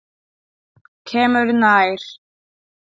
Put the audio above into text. Kemur nær.